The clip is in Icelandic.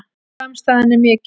Samstaðan er mikil